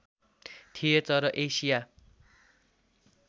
थिए तर एसिया